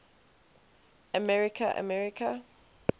america america